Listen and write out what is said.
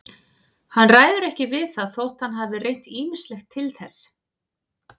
Hann ræður ekki við það þótt hann hafi reynt ýmislegt til þess.